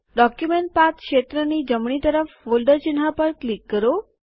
document path ક્ષેત્રની જમણી તરફ ફોલ્ડર ચિહ્ન પર ક્લિક કરો